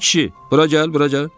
Ay kişi, bura gəl, bura gəl.